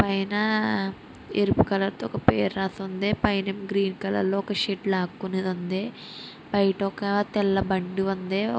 పైన ఎరుపు కలర్ తో ఒక పేరు రాసి ఉంది.పైనేమో గ్రీన్ కలర్ లో ఒక షెడ్ లాక్కునేది వుంది బైట ఒక తెల్ల బండి వుంది --